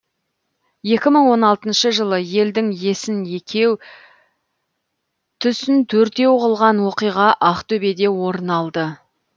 екі мың он алтыншы жылы елдің есін екеу түсін төртеу қылған оқиға ақтөбеде орын алды